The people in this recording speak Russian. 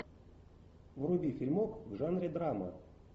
вруби фильмок в жанре драма